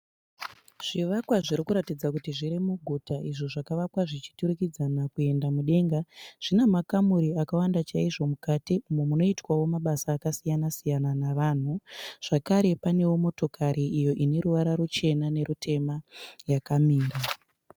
Zvivakwa zvinoratidza kuti zviri muguta izvo zvakavakwa zvichiturikidzana kuenda mudenga. Zvina makamuri akawanda chaizvo mukati umo munoitwao mabasa akasiyana siyana navanhu. Zvakare panewo motokari iyo ine ruvara ruchena nerutema yakamira.